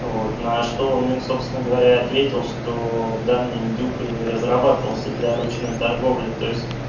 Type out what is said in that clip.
на что он им собственно говоря ответил что данный индюк и разрабатывался для ручной торговли то есть